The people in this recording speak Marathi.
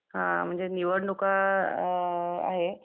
हां म्हणजे निवडणुका अ आहे